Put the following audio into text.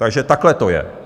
Takže takhle to je.